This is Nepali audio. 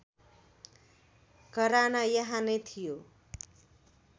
घराना यहाँ नैं थियो।